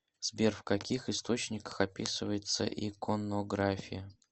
сбер в каких источниках описывается иконография